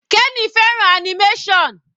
Kenny fẹ́ràn animation.